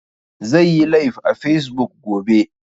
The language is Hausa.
Zai yi laif a fesbuk gobe